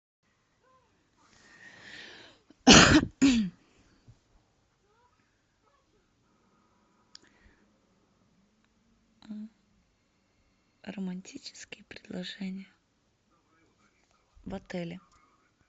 романтические предложения в отеле